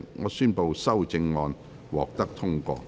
我宣布修正案獲得通過。